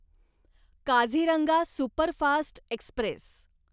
Kaziranga superfast Express